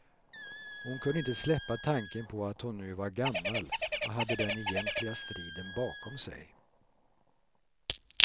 Hon kunde inte släppa tanken på att hon nu var gammal och hade den egentliga striden bakom sig.